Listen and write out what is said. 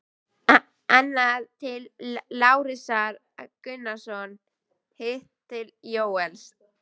Annað til Lárusar Gunnarssonar, hitt til Jóels.